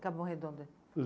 Capão Redondo.